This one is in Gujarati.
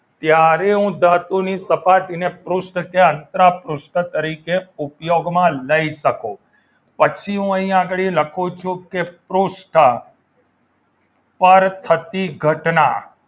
ત્યારે હું ધાતુની સપાટી ને પૃષ્ઠ કે અંતરા પૃષ્ઠ તરીકે ઉપયોગમાં લઈ શકું પછી હું અહીં આગળ લખું છું કે પૃષ્ઠ પર થતી ઘટના